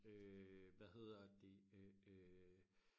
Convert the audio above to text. øh hvad hedder det øh øh